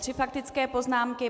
Tři faktické poznámky.